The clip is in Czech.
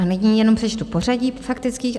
A nyní jenom přečtu pořadí faktických.